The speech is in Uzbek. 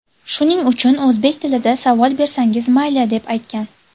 Shuning uchun o‘zbek tilida savol bersangiz, mayli”, deb aytgan.